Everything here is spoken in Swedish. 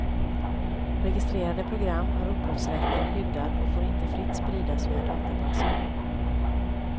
Registrerade program har upphovsrätten skyddad och får inte fritt spridas via databaser.